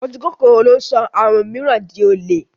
Ojúkòkòrò ló sọ àwọn mìíràn di olè.